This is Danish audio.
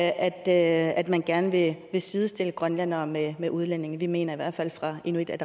at at man gerne vil sidestille grønlændere med med udlændinge vi mener i hvert fald fra inuit